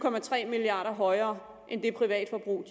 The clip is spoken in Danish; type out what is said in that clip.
milliard kroner højere end det privatforbrug